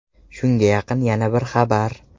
Shunga yaqin yana bir xabar.